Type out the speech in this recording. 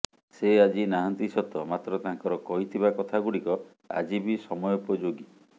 ସେ ଆଜି ନାହାନ୍ତି ସତ ମାତ୍ର ତାଙ୍କର କହିଥିବା କଥା ଗୁଡ଼ିକ ଆଜି ବି ସମୟୋପଯୋଗୀ